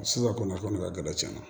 A tɛ se ka kɔnɔ a fɔ ne ka gɛrɛ tiɲɛna